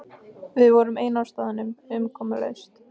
Við vorum ein á staðnum, umkomulaus.